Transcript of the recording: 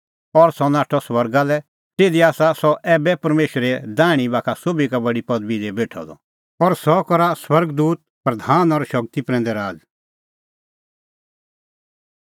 और सह नाठअ स्वर्गा लै तिधी आसा सह ऐबै परमेशरे दैहणीं बाखा सोभी का बडी पदबी दी बेठअ द और सह करा स्वर्ग दूत प्रधान और शगती प्रैंदै राज़